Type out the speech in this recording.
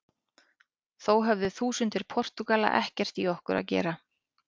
Þó höfðu þúsundir Portúgala ekkert í okkur að gera.